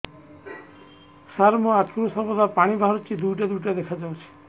ସାର ମୋ ଆଖିରୁ ସର୍ବଦା ପାଣି ବାହାରୁଛି ଦୁଇଟା ଦୁଇଟା ଦେଖାଯାଉଛି